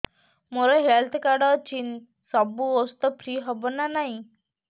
ମୋର health card ଅଛି ସବୁ ଔଷଧ ଫ୍ରି ହବ ନା ନାହିଁ